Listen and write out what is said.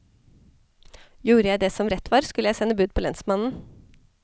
Gjorde jeg det som rett var, skulle seg sende bud på lensmannen.